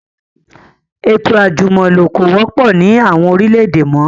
Ètò àjùmọ̀lo kò wọ́pọ̀ ni àwọn orílẹ̀ èdè mọ